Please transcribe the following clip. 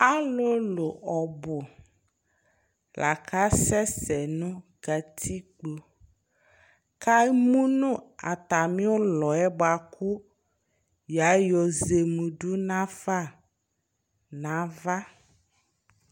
Alʋlʋ ɔbʋ laka sɛsɛ nʋ katikpo kʋ emʋnʋ atmi ʋlɔyɛ bʋakʋ yayɔ zemedʋ nafa nʋ ava